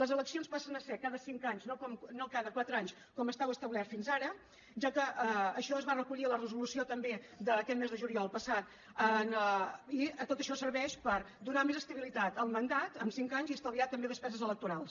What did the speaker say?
les eleccions passen a ser cada cinc anys no cada quatre anys com estava establert fins ara ja que això es va recollir a la resolució també d’aquest mes de juliol passat i tot això serveix per donar més estabi·litat al mandat en cinc anys i estalviar també despeses electorals